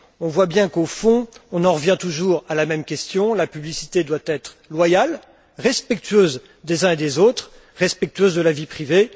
On voit bien qu'au fond, on en revient toujours à la même question la publicité doit être loyale, respectueuse des uns et des autres, respectueuse de la vie privée.